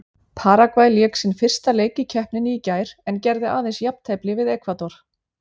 Paragvæ lék sinn fyrsta leik í keppninni í gær en gerði aðeins jafntefli við Ekvador.